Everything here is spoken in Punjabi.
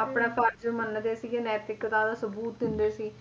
ਆਪਣਾ ਫਰਜ਼ ਮੰਨਦੇ ਸੀਗੇ ਨੈਤਿਕਤਾ ਦਾ ਸਬੂਤ ਦਿੰਦੇ ਸੀ